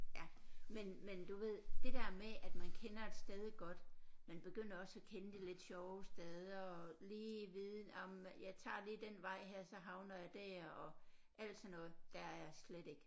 Ja men men du ved det der med at man kender et sted godt man begynder også at kende de lidt sjove steder og lige vide nåh men jeg tager lige den vej her så havner jeg der og alt sådan noget der er jeg slet ikke